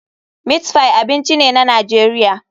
Meatpie abinci ne na Najeriya.